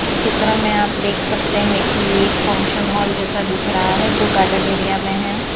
चित्र में आप देख सकते हैं कि एक फंक्शनहॉल जैसा दिख रहा है जो गार्डन एरिया में है।